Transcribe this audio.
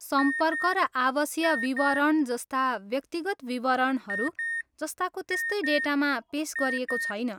सम्पर्क र आवासीय विवरण जस्ता व्यक्तिगत विवरणहरू जस्ताको तेस्तै डेटामा पेस गरिएको छैन।